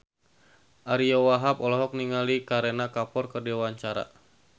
Ariyo Wahab olohok ningali Kareena Kapoor keur diwawancara